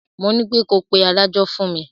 Mo nípé ko pe adájọ́ fún mi.